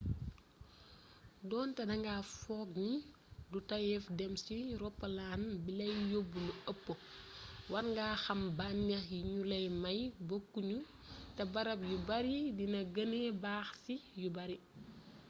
donté danga fookni du tayyéf dém ci roppalan bilay yobb lu ëpp warnga xam bannéx yi gnu lay may bokku ñu té bërëb yu bari dina gennee baax ci yu bari